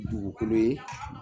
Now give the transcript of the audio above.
Dugukolo ye